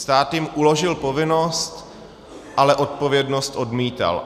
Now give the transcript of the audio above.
Stát jim uložil povinnost, ale odpovědnost odmítal.